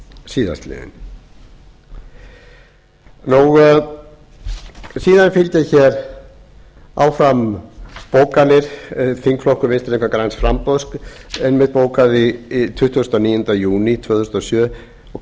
síðastliðinn síðan fylgja hér áfram bókanir þingflokkur vinstri hreyfingarinnar græns framboðs einmitt bókaði tuttugasta og níunda júní tvö þúsund og sjö og